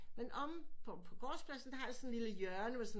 Men omme på gårdspladen der har jeg sådan en lille hjørne med sådan